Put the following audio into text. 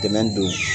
Dɛmɛ don